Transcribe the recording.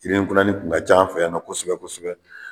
Yirini kunanni kun ka ca an fɛ yan kosɛbɛ kosɛbɛ.